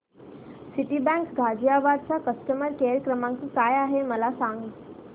Citibank Ghaziabad चा customer care क्रमांक काय आहे मला सांग